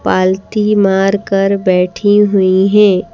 पालती मार कर बैठी हुई हैं।